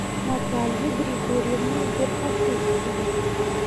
наталья григорьевна верхотурцева